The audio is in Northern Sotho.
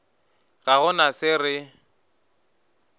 ga go na se re